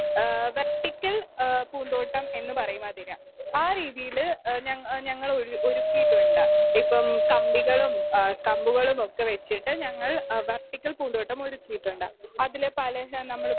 speaker 2 ഏഹ് vertical ഏഹ് പൂത്തോട്ടം എന്നുപറയുമതിനെ ആ രീതിയില് ഞങ്ങ ഞങ്ങള് ഒരുക്കിയിട്ടുണ്ട് ഇപ്പം കമ്പികളും ആഹ് കമ്പുകളുമൊക്കെവെച്ചിട്ട് ഞങ്ങൾ ആഹ് വെർട്ടിക്കൽ പൂന്തോട്ടമൊരുക്കിയിട്ടുണ്ട്.അതില് പല ഹ നമ്മളി